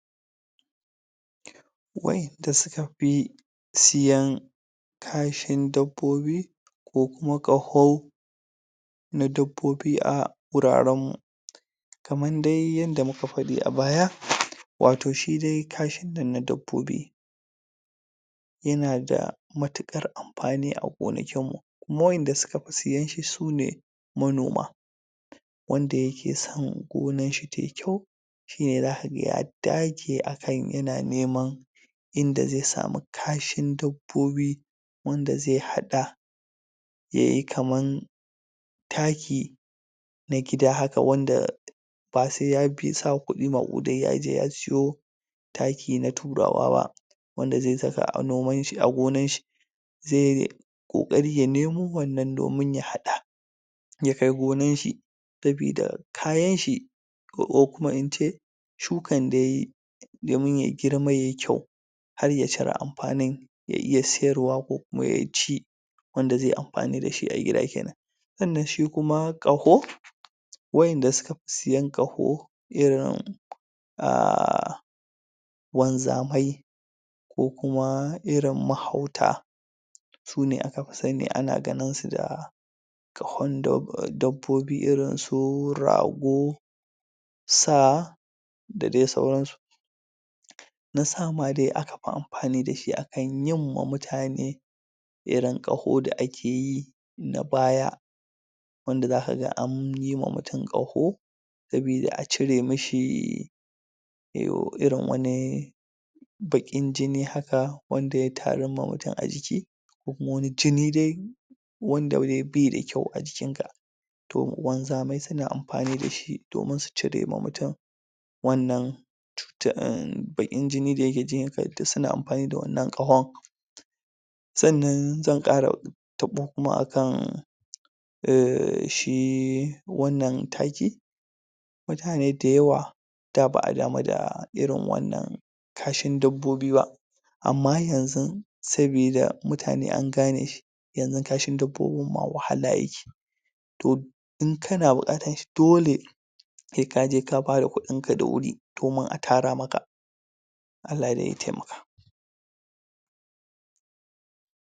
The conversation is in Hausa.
Waƴanda suka fi siyan kashin dabbobi ko kuma ƙaho na dabbobi a gurarenmu kaman de yanda muka faɗi a baya wato shi de kashin nan na dabbobi yana da matuƙar amfani a gonakinmu kuma waƴanda suka fi sayen shi su ne manoma wanda yake son gonarshi ta yi kyau shi ne zaka ga ya dage akan yana neman inda ze samu kashin dabbobi wanda ze haɗa yayi kaman taki na gida haka wanda ba se ya bi ya sa kuɗi maƙudai ya je ya siyo taki na Turawa ba wanda ze saka um a gonanshi ze ƙoƙari ya nemo wannan domin ya hada ya kai gonanshi sabida kayanshi ko kuma in ce shukan da ya yi domin ya girma ya yi kyau har ya cire amfanin ya iya siyarwa ko kuma ya ci wanda ze yi amfani da shi a gida kenan sannan shi kuma ƙaho waƴanda suka fi siyan ƙaho irin um wanzamai ko kuma irin mahauta su ne aka fi sani ana ganin su da ƙahon um dabbobi irin su rago sa da de sauransu na sa ma de aka fi amfani da shi akan yin ma mutane irin ƙaho da ake yi na baya wanda zaka ga an yi ma mutum ƙaho sabida a cire mi shi irin wani baƙin jini haka wanda ya tarun ma mutum a jiki ko kuma wani jini de wanda de bai da kyau a jikinka to wanzamai suna amfani da shi domin su cire ma mutum wannan cuta um baƙin jini da yake jikinka suna amfani da wannan ƙahon sannan zan ƙara taɓo kuma akan um shi wannan taki mutane dayawa da ba damu da irin wannan kashin dabbobi ba amma yanzun sabida mutane an gane shi yanzu kashin dabbobin ma wahala yake to in kana buƙatan shi dole se ka je ka bada kuɗinka da wuri domin a tara maka